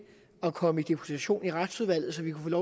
at komme i deputation i retsudvalget så vi kunne